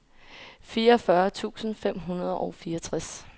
fireogfyrre tusind fem hundrede og fireogtres